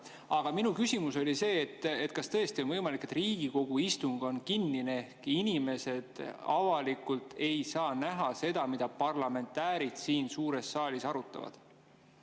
Aga minu küsimus on selline: kas tõesti on võimalik, et Riigikogu istung on kinnine ehk inimesed avalikult ei saa näha seda, mida parlamentäärid siin suures saalis arutavad?